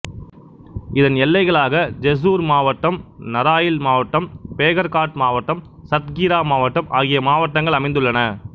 இதன் எல்லைகளாக ஜெஸ்சூர் மாவட்டம் நராய்ல் மாவட்டம் பேகர்காட் மாவட்டம் சத்கீரா மாவட்டம் ஆகிய மாவட்டங்கள் அமைந்துள்ளன